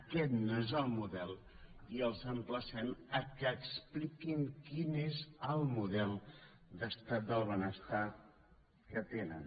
aquest no és el model i els emplacem que expliquin quin és el model d’estat del benestar que tenen